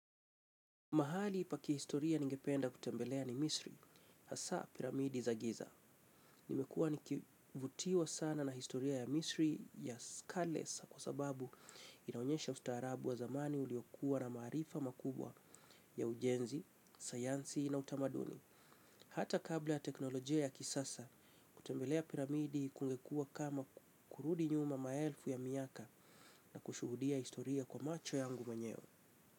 Mahali pa kihistoria ningependa kutembelea ni Misri, hasa piramidi za giza. Nimekuwa nikivutiwa sana na historia ya Misri ya Skulless kwa sababu inaonyesha ustaarabu wa zamani uliokua na maarifa makubwa ya ujenzi, sayansi na utamaduni. Hata kabla ya teknolojia ya kisasa, kutembelea piramidi kungekua kama kurudi nyuma maelfu ya miaka na kushuhudia historia kwa macho yangu mwenyewe.